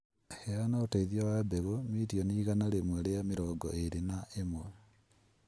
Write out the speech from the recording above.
Heana ũteithio wa mbegũ mirioni igana rĩmwe ria mĩrongo ĩrĩ na ĩmwe